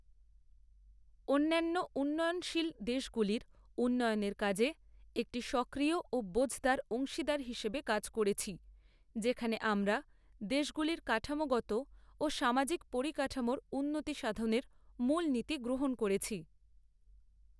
অন্যান্য উন্নয়নশীল দেশগুলির উন্নয়নের কাজে একটি সক্রিয় ও বোঝদার অংশীদার হিসেবে কাজ করেছি, যেখানে আমরা দেশগুলির কাঠামোগত ও সামাজিক পরিকাঠামোর উন্নতিসাধনের মূল নীতি গ্রহণ করেছি।